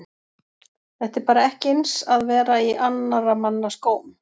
Þetta er bara ekki eins að vera í annara mann skóm.